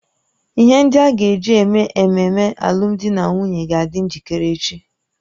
Ihe ndị a ga-eji eme ememe alụmdi na nwunye ga-adị njikere echi